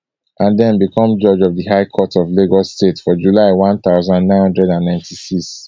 and den become judge of di high court of lagos state for july one thousand, nine hundred and ninety-six